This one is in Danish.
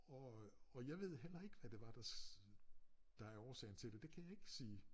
Og øh og jeg ved heller ikke hvad det var der der er årsagen til det det kan jeg ikke sige